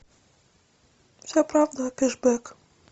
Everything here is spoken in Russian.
вся правда о кэшбек